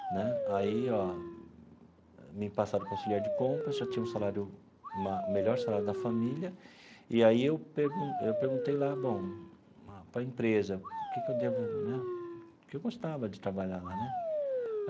Né aí ó me passaram para o auxiliar de compras, eu já tinha o salário ma melhor salário da família, e aí eu perguntei eu perguntei lá bom para a empresa o que que devo né que eu gostava de trabalhar lá né.